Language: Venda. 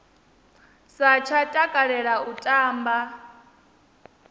sa tsha takalela u tamba